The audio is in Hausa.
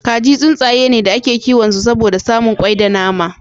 Kaji tsuntsaye ne da ake kiwon su saboda samun kwai da nama.